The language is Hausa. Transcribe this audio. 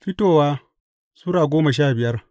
Fitowa Sura goma sha biyar